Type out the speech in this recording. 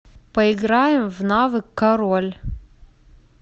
поиграем в навык король